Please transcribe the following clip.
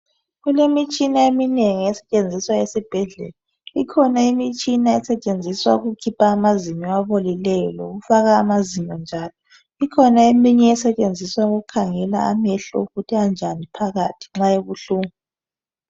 Kulemitshina eminengi esetshenziswayo esibhedlela ikhona imitshina esetshenziswa ukukhipha amazinyo abolileyo lokufaka amazinyo njalo ikhona eminye esetshenziswa ukukhangela amehlo ukuthi anjani phakathi nxa ebuhlungu